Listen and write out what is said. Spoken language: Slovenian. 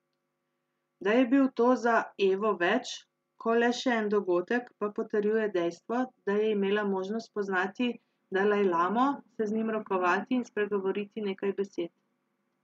Da je bil to za Evo več, ko le še en dogodek, pa potrjuje dejstvo, da je imela možnost spoznati dalajlamo, se z njim rokovati in spregovoriti nekaj besed.